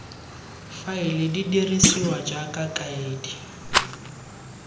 faele di dirisiwa jaaka kaedi